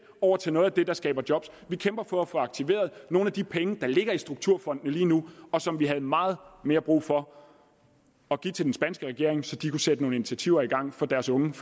over til noget af det der skaber job vi kæmper for at få aktiveret nogle af de penge der ligger i strukturfondene lige nu og som vi havde meget mere brug for at give til den spanske regering så de kunne sætte nogle initiativer i gang for deres unge